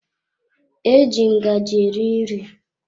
Eji ngaji eri nri.